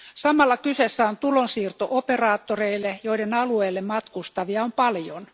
Samalla kyseessä on tulonsiirto operaattoreille, joiden alueelle matkustavia on paljon.